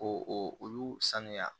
Ko olu sanuya